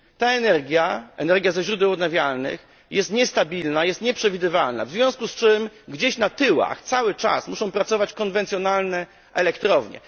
Ta energia energia ze źródeł odnawialnych jest niestabilna, jest nieprzewidywalna, w związku z czym gdzieś na tyłach cały czas muszą pracować konwencjonalne elektrownie.